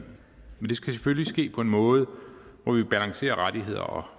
skal selvfølgelig ske på en måde hvor vi balancerer rettigheder og